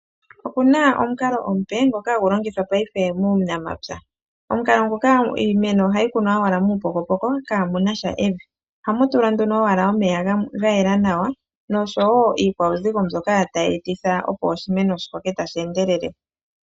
Opuna omukalo omupe ngoka hagu longithwa payife muunamapya omukalo ngoka iimeno ohayi kunwa owala muupokopoko kamunasha evi ohamu tulwa nduno owala omeya ga yela nawa niikwawuzigo mbyoka tayi etitha opo oshimeno shi koke tashi endelele.